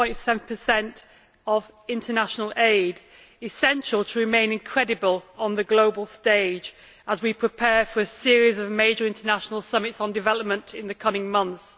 0.7 of international aid is central to remaining credible on the global stage as we prepare for a series of major international summits on development in the coming months.